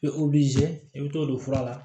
I bɛ i bɛ t'o don fura la